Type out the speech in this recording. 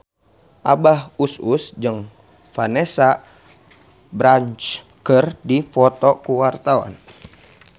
Abah Us Us jeung Vanessa Branch keur dipoto ku wartawan